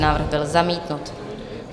Návrh byl zamítnut.